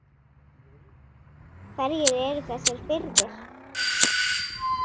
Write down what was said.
Hverjir eru þessir firðir?